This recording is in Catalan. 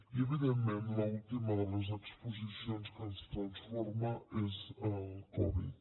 i evidentment l’última de les exposicions que ens transforma és al covid